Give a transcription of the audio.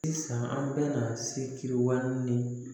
Sisan an bɛna se kiwale ni